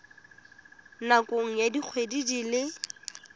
nakong ya dikgwedi di le